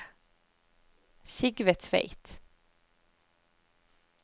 Sigve Tveit